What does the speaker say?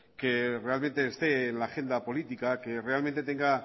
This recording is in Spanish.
que realmente esté en la agenda política que realmente tenga